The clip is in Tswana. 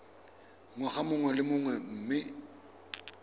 ngwaga mongwe le mongwe mme